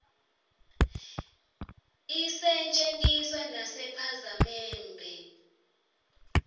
isetje ntiswa nasepha zamenbe